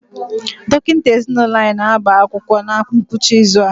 Dọkịta ezinụlọ anyị na-agba akwụkwọ na ngwụcha izu a.